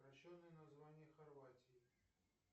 упрощенное название хорватии